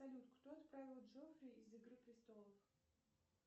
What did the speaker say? салют кто отравил джофри из игры престолов